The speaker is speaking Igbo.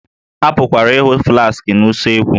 A pụkwara ịhụ flaskị na usekwu